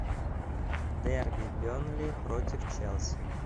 дерби бернли против челси